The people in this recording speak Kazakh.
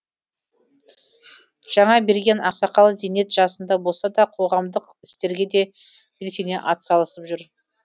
жаңаберген ақсақал зейнет жасында болса да қоғамдық істерге де белсене атсалысып жүр